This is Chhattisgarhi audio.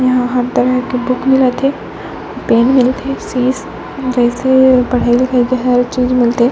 यहाँ हर तरह के बुक मिलते पेन मिलते सीस वैसे पढ़ाई लिखाई के हर चीज मिलते --